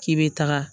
K'i bɛ taga